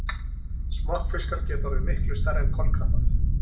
Smokkfiskar geta orðið miklu stærri en kolkrabbar.